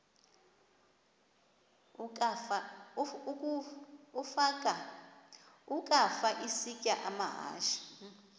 ukafa isitya amahashe